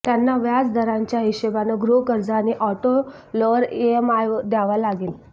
त्यांना व्याज दरांच्या हिशेबानं गृहकर्ज आणि आॅटो लोवर ईएमआय द्यावा लागेल